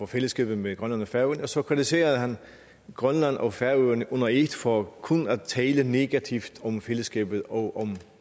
fællesskabet med grønland og færøerne og så kritiserede han grønland og færøerne under et for kun at tale negativt om fællesskabet og om